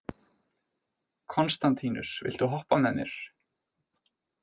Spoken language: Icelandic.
Konstantínus, viltu hoppa með mér?